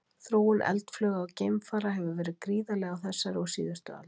Þróun eldflauga og geimfara hefur verið gríðarleg á þessari og síðustu öld.